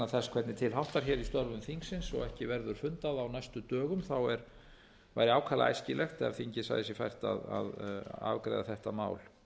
þess hvernig til háttar í störfum þingsins og ekki verður fundað á næstu dögum þá væri ákaflega æskilegt ef þingið sæi sér fært að afgreiða þetta mál